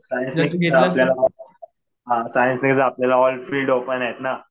कारण कि इकडे आपल्याला, कारण कि इकडेऑल फिल्ड ओपन आहेत ना.